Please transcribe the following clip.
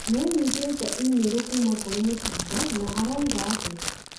Nĩnyitĩte i-mīrū kuuma kũrĩ mũtinda na aroĩga atĩa?